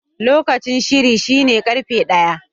Lokacin shiri shine karfe ɗaya.